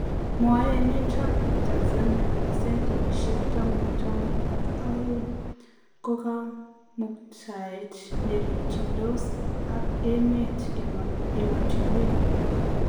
Mwae emet ab Tanzania kole sentisiek taman- taman ak aeng ko kamuktaet nerikyindos aka emet amotinwek alak